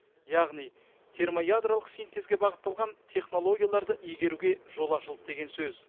яғни термоядролық синтезге бағытталған технологияларды игеруге жол ашылды деген сөз